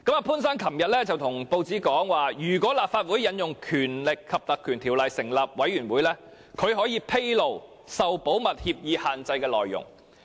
潘先生昨天告訴報章，如果立法會引用《條例》成立專責委員會，他可以向專責委員會披露受保密協議限制的內容。